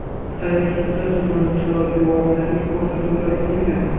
Sayyor sudda sudlanuvchi va guvohlarning ko‘rsatuvlari tinglandi.